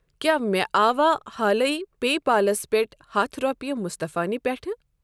کیٛاہ مےٚ آوا حالٕے پے پالس پٮ۪ٹھ ہتھ رۄپیہِ مُصطفیٰ نہِ پٮ۪ٹھٕ؟